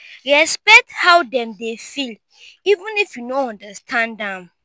respekt how dem dey feel even if yu no understand am